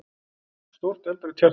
Stórt, eldrautt hjarta!